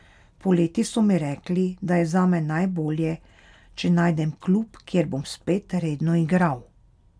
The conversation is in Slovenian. Poleti so mi rekli, da je zame najbolje, če najdem klub, kjer bom spet redno igral.